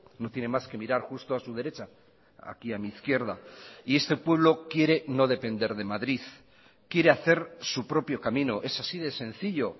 no tiene más que mirar justo a su derecha aquí a mi izquierda y este pueblo quiere no depender de madrid quiere hacer su propio camino es así de sencillo